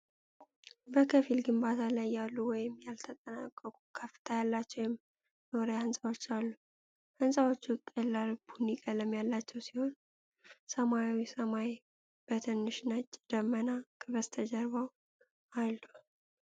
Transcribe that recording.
በከፊል ግንባታ ላይ ያሉ ወይም ያልተጠናቀቁ ከፍታ ያላቸው የመኖሪያ ሕንፃዎች አሉ። ሕንፃዎቹ ቀላል ቡኒ ቀለም ያላቸው ሲሆን፣ ሰማያዊው ሰማይ በትንሽ ነጭ ደመና ከበስተጀርባው አሉ።